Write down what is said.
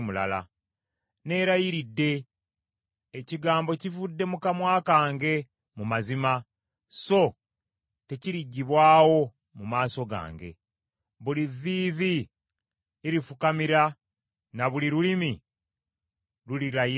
Neerayiridde, ekigambo kivudde mu kamwa kange mu mazima so tekiriggibwawo mu maaso gange. Buli vviivi lirifukamira, na buli lulimi lulirayira!